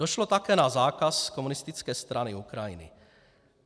Došlo také na zákaz Komunistické strany Ukrajiny.